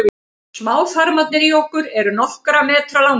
smáþarmarnir í okkur eru nokkurra metra langir